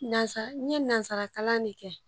Nansa n ye nansarakalan de kɛ